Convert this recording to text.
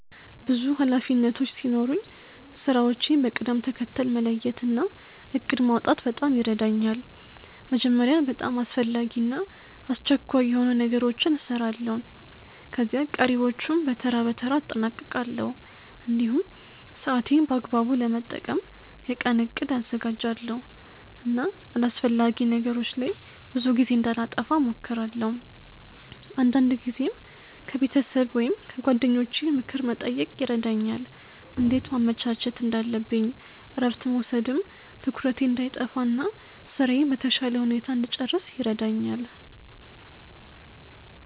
ብዙ ኃላፊነቶች ሲኖሩኝ ስራዎቼን በቅደም ተከተል መለየት እና እቅድ ማውጣት በጣም ይረዳኛል። መጀመሪያ በጣም አስፈላጊ እና አስቸኳይ የሆኑ ነገሮችን እሰራለሁ፣ ከዚያ ቀሪዎቹን በተራ በተራ አጠናቅቃለሁ። እንዲሁም ሰዓቴን በአግባቡ ለመጠቀም የቀን እቅድ አዘጋጃለሁ እና አላስፈላጊ ነገሮች ላይ ብዙ ጊዜ እንዳላጠፋ እሞክራለሁ። አንዳንድ ጊዜም ከቤተሰብ ወይም ከጓደኞቼ ምክር መጠየቅ ይረዳኛል እንዴት ማመቻቸት እንዳለብኝ እረፍት መውሰድም ትኩረቴን እንዳይጠፋ እና ስራዬን በተሻለ ሁኔታ እንድጨርስ ይረዳኛል።